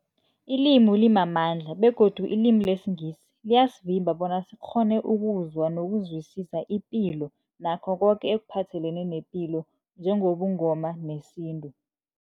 Ilimi limamandla begodu ilimi lesiNgisi liyasivimba bona sikghone ukuzwa nokuzwisisa ipilo nakho koke ekuphathelene nepilo njengobuNgoma nesintu.